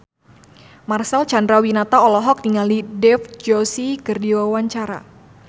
Marcel Chandrawinata olohok ningali Dev Joshi keur diwawancara